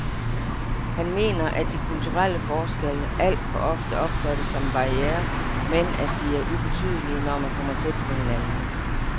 Han mener, at de kulturelle forskelle alt for ofte opfattes som en barriere, men at de er ubetydelige, når man kommer tæt på hinanden.